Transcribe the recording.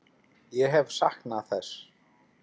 Ég hef saknað þess.